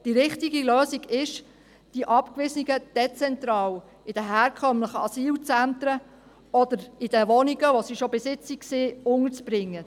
Die richtige Lösung ist, die Abgewiesenen dezentral, in den herkömmlichen Asylzentren oder in den Wohnungen, wo sie bereits bis jetzt gewohnt haben, unterzubringen.